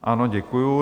Ano, děkuji.